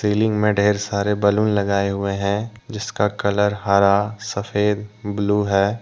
Ceiling मे ढेर सारे बलुन लगाए हुए हैं जिसका कलर हरा सफेद ब्लू है।